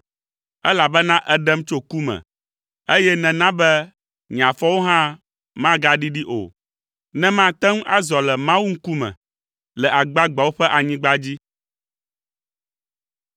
Elabena èɖem tso ku me, eye nèna be nye afɔwo hã magaɖiɖi o, ne mate ŋu azɔ le Mawu ŋkume le agbagbeawo ƒe anyigba dzi.